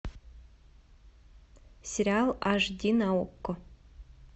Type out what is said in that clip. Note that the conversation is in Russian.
сериал аш ди на окко